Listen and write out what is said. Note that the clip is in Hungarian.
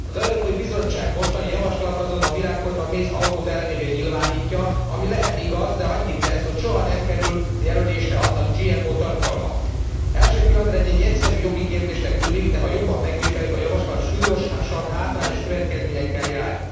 Az Európai Bizottság mostani javaslata azonban a virágport a méz alkotóelemévé nyilvánítja, ami lehet igaz, de annyit tesz, hogy soha nem kerül jelölésre annak GMO tartalma. Első pillanatra ez egy egyszerű jogi kérdésnek tűnik, de ha jobban megvizsgáljuk, a javaslat súlyosan hátrányos következményekkel jár.